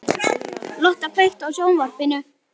Lotta, kveiktu á sjónvarpinu.